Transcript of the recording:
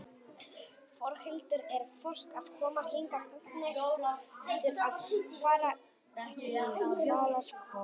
Þórhildur: Er fólk að koma hingað gagngert til að fara í hvalaskoðun?